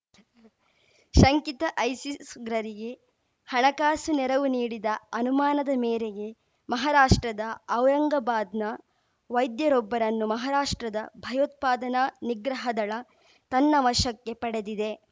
ಶಂಕಿತ ಐಸಿಸ್‌ ಉಗ್ರರಿಗೆ ಹಣಕಾಸು ನೆರವು ನೀಡಿದ ಅನುಮಾನದ ಮೇರೆಗೆ ಮಹಾರಾಷ್ಟ್ರದ ಔರಂಗಾಬಾದ್‌ನ ವೈದ್ಯರೊಬ್ಬರನ್ನು ಮಹಾರಾಷ್ಟ್ರದ ಭಯೋತ್ಪಾದನಾ ನಿಗ್ರಹ ದಳ ತನ್ನ ವಶಕ್ಕೆ ಪಡೆದಿದೆ